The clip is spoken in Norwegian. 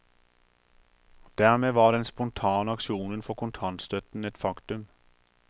Dermed var den spontane aksjonen for kontantstøtten et faktum.